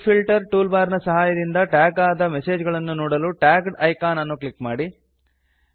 quick filter tool bar ನ ಸಹಾಯದಿಂದ tag ಆದ ಮೆಸೇಜ್ ಗಳನ್ನು ನೋಡಲು ಟ್ಯಾಗ್ಡ್ ಐಕಾನ್ ಅನ್ನು ಕ್ಲಿಕ್ ಮಾಡಿ